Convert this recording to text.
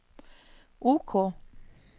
OK